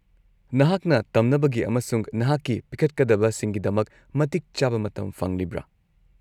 - ꯅꯍꯥꯛꯅ ꯇꯝꯅꯕꯒꯤ ꯑꯃꯁꯨꯡ ꯅꯍꯥꯛꯀꯤ ꯄꯤꯈꯠꯀꯗꯕꯁꯤꯡꯒꯤꯗꯃꯛ ꯃꯇꯤꯛ ꯆꯥꯕ ꯃꯇꯝ ꯐꯪꯂꯤꯕ꯭ꯔꯥ?